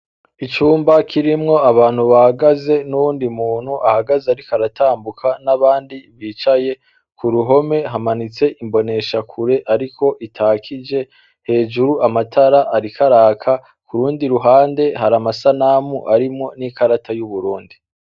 Icumba kirimwo abantu bagaze n'uwundi muntu ahagaze, ariko aratambuka n'abandi bicaye ku ruhome hamanitse imbonesha kure, ariko itakije hejuru amatara arikaraka ku rundi ruhande hari amasanamu arimwo n'ikarata y'uburundi.